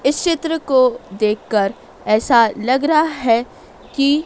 इस चित्र को देखकर ऐसा लग रहा है कि--